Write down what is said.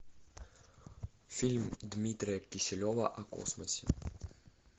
фильм дмитрия кисилева о космосе